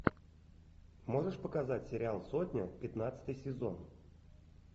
можешь показать сериал сотня пятнадцатый сезон